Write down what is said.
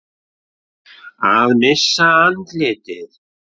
Að missa andlitið